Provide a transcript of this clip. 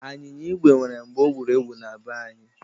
Anyịnya igwe nwere mgbe o wuru ewu na be anyị.